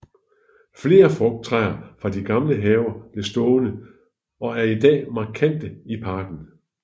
Flere frugttræer fra de gamle haver blev stående og er i dag markante i parken